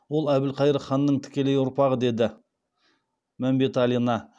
ол әбілқайыр ханның тікелей ұрпағы деді мәмбеталина